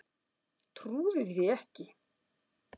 Trúði því ekki.